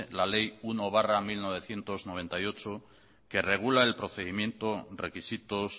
la ley uno barra mil novecientos noventa y ocho que regula el procedimiento requisitos